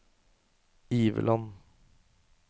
Iveland